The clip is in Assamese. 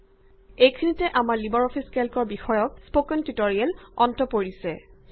এইখিনিতে আমাৰ লিবাৰ অফিচ কেল্কৰ বিষয়ক স্পকেন টিউটৰিয়েলৰ অন্ত পৰিছে